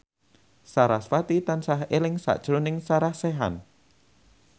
sarasvati tansah eling sakjroning Sarah Sechan